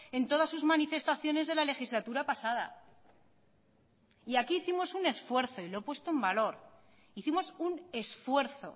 en todas sus manifestaciones de la legislatura pasada y aquí hicimos un esfuerzo y lo he puesto en valor hicimos un esfuerzo